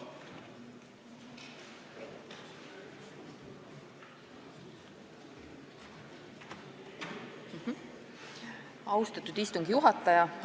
Austatud istungi juhataja!